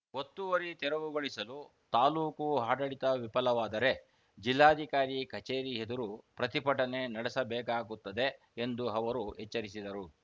ಒತ್ತುವರಿ ತೆರವುಗೊಳಿಸಲು ತಾಲೂಕು ಆಡಳಿತ ವಿಫಲವಾದರೆ ಜಿಲ್ಲಾಧಿಕಾರಿ ಕಚೇರಿ ಎದುರು ಪ್ರತಿಭಟನೆ ನಡೆಸಬೇಕಾಗುತ್ತದೆ ಎಂದು ಅವರು ಎಚ್ಚರಿಸಿದರು